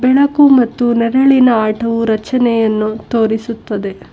ಬೆಳಕು ಮತ್ತು ನೆರಳಿನ ಆಟೋ ರಚನೆಯನ್ನು ತೋರಿಸುತ್ತದೆ.